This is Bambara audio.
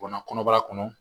Bɔnna kɔnɔbara kɔnɔ